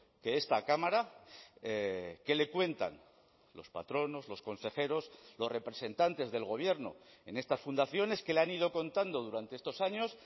que esta cámara qué le cuentan los patronos los consejeros los representantes del gobierno en estas fundaciones qué le han ido contando durante estos años